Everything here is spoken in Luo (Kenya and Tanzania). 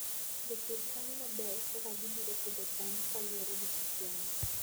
Jopur chano maber kaka gibiro pidho cham kaluwore gi kit yamo.